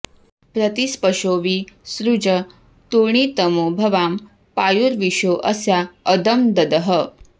प्रति॒ स्पशो॒ वि सृ॑ज॒ तूर्णि॑तमो॒ भवा॑ पा॒युर्वि॒शो अ॒स्या अद॑ब्धः